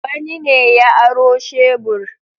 Wani ne ya aro shebur.